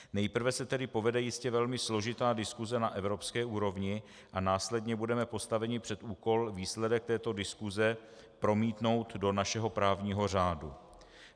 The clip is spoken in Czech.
Nejprve se tedy povede jistě velmi složitá diskuse na evropské úrovni a následně budeme postaveni před úkol výsledek této diskuse promítnout do našeho právního řádu.